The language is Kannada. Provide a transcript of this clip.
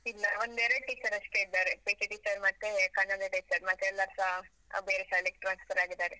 ಇಲ್ಲ, ಒಂದೆರಡು teacher ಅಷ್ಟೇ ಇದ್ದಾರೆ, PT teacher ಮತ್ತೆ ಕನ್ನಡ teacher, ಮತ್ತೆ ಎಲ್ಲಾರ್ಸಾ ಅಹ್ ಬೇರೆ ಶಾಲೆಗೆ transfer ಆಗಿದ್ದಾರೆ.